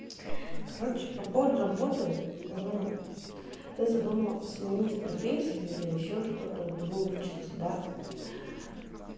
короче по поводу работы ну когда я задумаю сменить профессию или ещё что-то вот вы учиться да